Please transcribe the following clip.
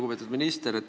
Lugupeetud minister!